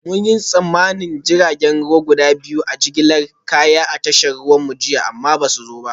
Mun yi tsammanin jiragen ruwa guda biyu na jigilar kaya a tashar ruwanmu jiya amma ba su zo ba